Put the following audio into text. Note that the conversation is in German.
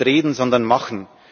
nicht reden, sondern machen!